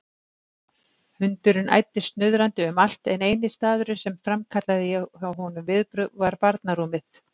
Hundurinn æddi snuðrandi um allt en eini staðurinn sem framkallaði hjá honum viðbrögð var barnarúmið.